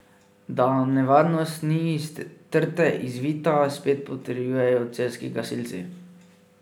Da nevarnost ni iz trte izvita, spet potrjujejo celjski gasilci.